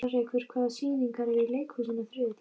Alrekur, hvaða sýningar eru í leikhúsinu á þriðjudaginn?